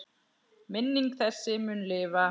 Minning þessi mun lifa.